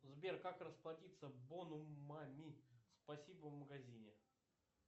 сбер как расплатится бонумами спасибо в магазине